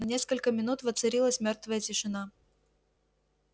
на несколько минут воцарилась мёрвая тишина